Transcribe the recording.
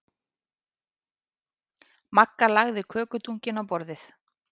Magga lagði kökudunkinn á borðið.